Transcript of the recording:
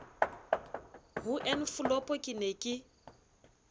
ho enfolopo ke ne ke